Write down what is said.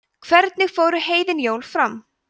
hvernig fóru heiðin jól fram